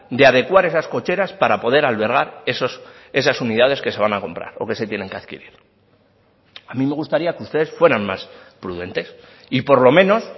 de adecuar esas cocheras para poder albergar esas unidades que se van a comprar o que se tienen que adquirir a mí me gustaría que ustedes fueran más prudentes y por lo menos